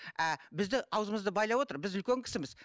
а бізді аузымызды байлап отыр біз үлкен кісіміз